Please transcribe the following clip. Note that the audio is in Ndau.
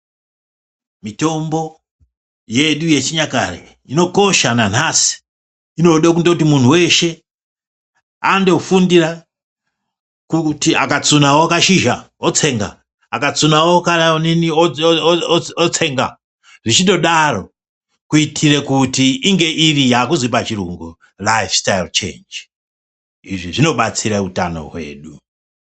Mitombo yedu yechinyakare inokosha nanhasi inode kundoti muntu weshe andofundire kuti akatsunawo kashizha otsenga akatsunawo kaaonini o o otsenga zvichindodaro kuitire kuti inge iri yakuzi pachirungu laifi staiyiwu chenji izvi zvinobatsira utano hwedu.